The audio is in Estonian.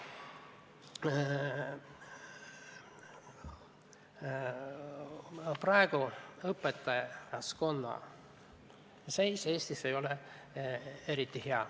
Praegu ei ole õpetajaskonna seis Eestis kuigi hea.